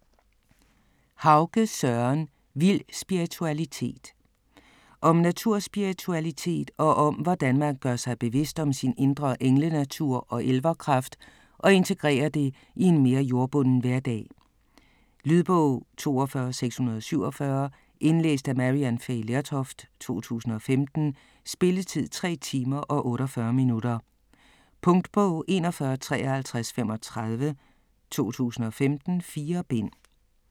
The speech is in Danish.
Hauge, Søren: Vild spiritualitet Om naturspiritualitet og hvordan man gør sig bevidst om sin indre englenatur og elverkraft og integrerer det i en mere jordbunden hverdag. Lydbog 42647 Indlæst af Maryann Fay Lertoft, 2015. Spilletid: 3 timer, 48 minutter. Punktbog 415335 2015. 4 bind.